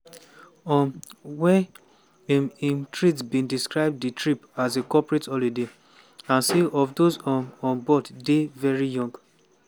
um wey im im treat bin describe di trip as a "corporate holiday" and some of those um on board dey "very young".